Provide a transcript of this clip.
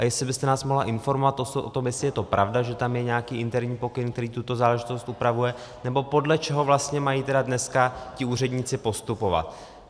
A jestli byste nás mohla informovat o tom, jestli je to pravda, že tam je nějaký interní pokyn, který tuto záležitost upravuje, nebo podle čeho vlastně mají tedy dneska ti úředníci postupovat.